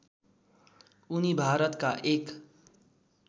उनी भारतका एक